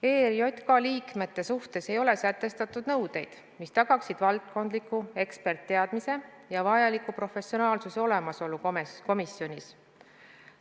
ERJK liikmete suhtes ei ole sätestatud nõudeid, mis tagaksid valdkondlike eksperditeadmiste ja vajaliku professionaalsuse olemasolu komisjonis.